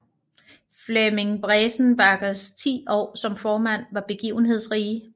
Flemming Besenbachers ti år som formand var begivenhedsrige